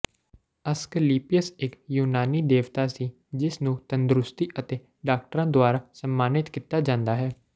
Asclepius ਇਕ ਯੂਨਾਨੀ ਦੇਵਤਾ ਸੀ ਜਿਸ ਨੂੰ ਤੰਦਰੁਸਤੀ ਅਤੇ ਡਾਕਟਰਾਂ ਦੁਆਰਾ ਸਨਮਾਨਿਤ ਕੀਤਾ ਜਾਂਦਾ ਹੈ